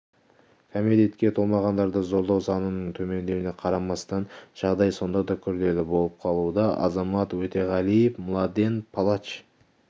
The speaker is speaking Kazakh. кәмелетке толмағандарды зорлау санының төмендеуіне қарамастан жағдай сонда да күрделі болып қалуда азамат өтеғалиев младен палач